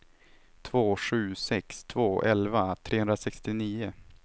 två sju sex två elva trehundrasextionio